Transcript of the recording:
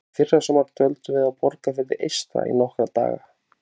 Í fyrrasumar dvöldum við á Borgarfirði eystra í nokkra daga.